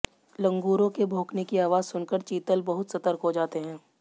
लंगूरों के भौंकने की आवाज़ सुनकर चीतल बहुत सतर्क हो जाते हैं